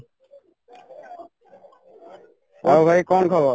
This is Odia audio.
ଆଉ ଭାଇ କ'ଣ ଖବର?